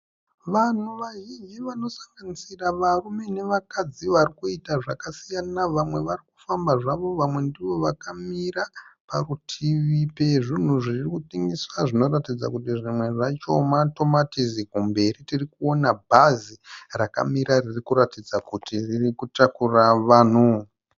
Vanhu vazhinji vanosanganisira varume nevakadzi varikuita zvakasiyana. Vamwe varikufamba zvavo vamwe ndivo vakamira parutivi pezvunhu zviri kutengeswa zvinoratidza kuti zvimwe zvacho matomatisi. Kumberi tirikuona bhazi rakamira riri kuratidza kuti riri kutakura vanhu.